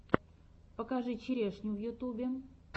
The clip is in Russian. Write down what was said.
покажи черешню в ютюбе